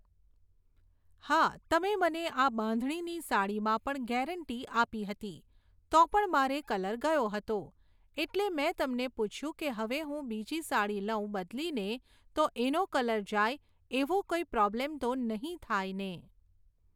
હા તમે મને આ બાંધણીની સાડીમાં પણ ગેરંટી આપી હતી, તો પણ મારે કલર ગયો હતો. એટલે મેં તમને પૂછ્યું કે હવે હું બીજી સાડી લઉં બદલીને તો એનો કલર જાય એવો કંઈ પ્રોબ્લેમ તો નહીં થાય ને.